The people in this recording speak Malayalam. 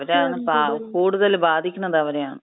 അവരാണ് പാവം, കൂടുതല് ബാധിക്കണത് അവരെയാണ്.